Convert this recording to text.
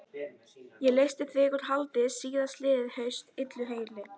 Um hádegisbilið koma Steini og Tolli til þeirra.